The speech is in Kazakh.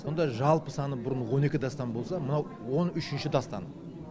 сонда жалпы саны бұрын он екі дастан болса мынау он үшінші дастан